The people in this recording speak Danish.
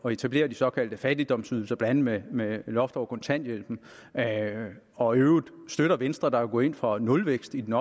etablere de såkaldte fattigdomsydelser blandt andet med loft over kontanthjælpen og i øvrigt støtter venstre der jo går ind for nulvækst i den